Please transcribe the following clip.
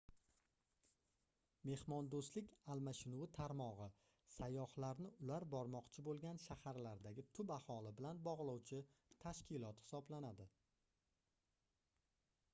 mehmondoʻstlik almashinuvi tarmogʻi sayyohlarni ular bormoqchi boʻlgan shaharlardagi tub aholi bilan bogʻlovchi tashkilot hisoblanadi